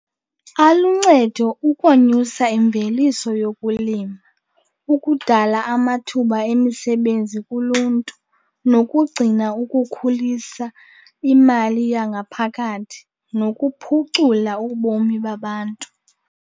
Aluncedo ukonyusa imveliso yokulima, ukudala amathuba emisebenzi kuluntu, nokugcina ukukhulisa imali yangaphakathi nokuphucula ubomi babantu.